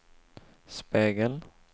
spegel